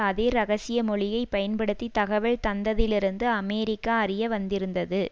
அதே இரகசிய மொழியைப்பயன்படுத்தி தகவல் தந்ததிலிருந்து அமெரிக்கா அறிய வந்திருந்தது